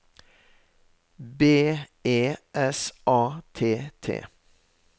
B E S A T T